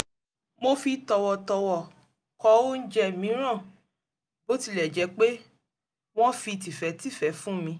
mo fi tọ̀wọ̀tọ̀wọ̀ kọ̀ óúnjẹ mìíràn bó tilẹ̀ jẹ́ pé wọ́n fi tìfẹ́tìfẹ́ fún mi